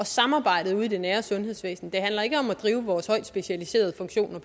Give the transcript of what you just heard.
samarbejdet ude i det nære sundhedsvæsen det handler ikke om at drive vores højt specialiserede funktioner